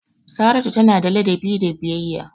Saratu tana da ladabi da biyayya.